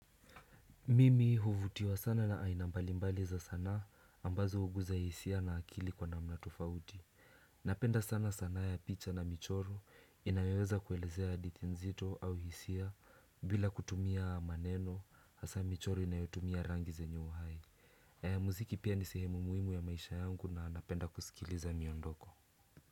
Mimi huvutiwa sana na aina mbalimbali za sanaa ambazo hugusa hisia na akili kwa namna tofauti Napenda sana sanaa ya picha na michoro inayoweza kuelezea hadithi nzito au hisia bila kutumia maneno hasa michoro inayotumia rangi zenye uhai Muziki pia ni sehemu muhimu ya maisha yangu na napenda kusikiliza miondoko.